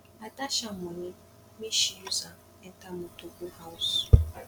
i dash am moni make she use am enter motor go house